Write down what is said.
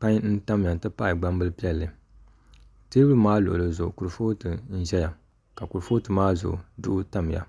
pai n ʒɛya n ti pahi gbambili piɛlli teebuli maa luɣuli zuɣu kurifooti n ʒɛya ka kurifooti maa zuɣu duɣu tamya